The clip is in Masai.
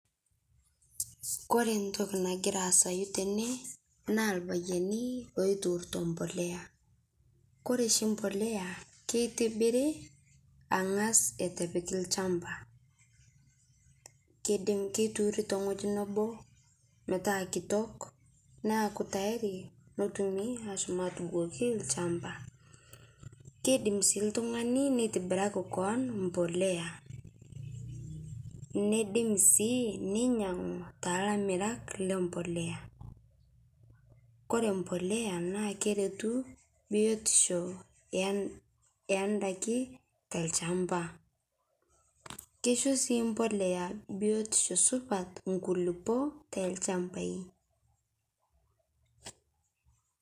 Kore ntoki nagiraa aasayu tene naa lpayani loituuruto mpolea, kore shi mpolea keitibiri ang'az etu epikii lchampa keidim keituuri teng'oji metaa kitok naaku tayari pootumi ashom atubukokii lchampaa keidim sii ltung'ani neitibiraki koon mpolea neidim sii neinyang'u telamirak lempolea, kore mpolea naa keretuu biotisho endakii telchampa, keisho sii mpolea biotisho supat nkulipo telchampai.